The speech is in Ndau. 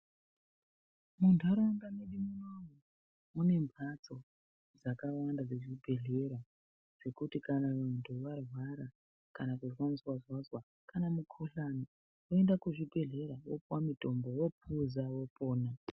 Muntaraunda medu munomu mune mhatso dzakawanda dzezvibhedhlera. Dzekuti kana muntu varwara kama kuzozwa-zozwa, kana mukuhlani voenda kuzvibhedhlera vopuva mutombo vopuza vopona.